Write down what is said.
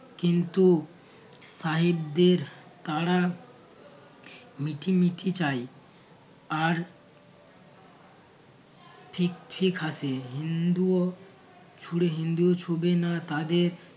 কিন্তু সাহেবদের তারা মিঠি মিঠি চাই আর ঠিক ঠিক হাসে হিন্দুও ছুঁড়ে হিন্দুও ছুঁবে না তাদের